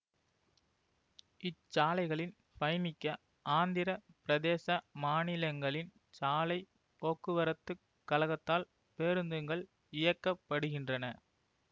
இச்சாலைகளில் பயணிக்க ஆந்திர பிரேதச மாநிலங்களின் சாலை போக்குவரத்து கழகத்தால் பேருந்துங்கள் இயக்க படுகின்றன